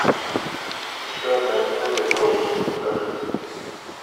еще одна история золушки покажи